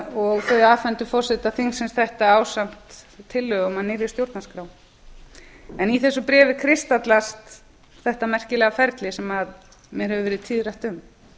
og þau afhentu forseta þingsins þetta ásamt tillögum að nýrri stjórnarskrá í þessu bréfi kristallast þetta merkilega ferli sem mér hefur verið tíðrætt um